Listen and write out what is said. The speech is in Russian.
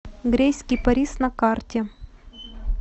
грейс кипарис на карте